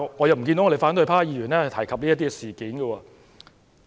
然而，反對派議員卻未有提及此事。